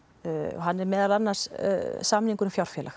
hann er meðal annars samningur um